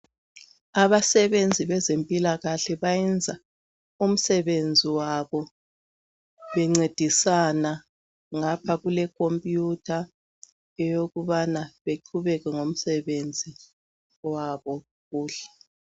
Abasebenzi bezempilakahle bayenza umisebenzi wabo bencedisana ngapha kule khompuyutha eyokubana beqhubeke ngomsebenzi wabo kuhle.